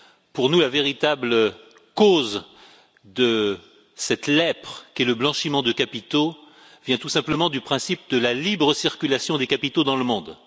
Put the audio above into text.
Pour nous, la véritable cause de cette lèpre qu'est le blanchiment de capitaux vient tout simplement du principe de la libre circulation des capitaux dans le monde.